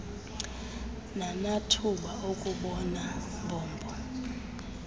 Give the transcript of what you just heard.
nanathuba okubona mbombo